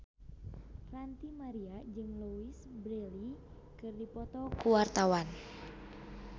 Ranty Maria jeung Louise Brealey keur dipoto ku wartawan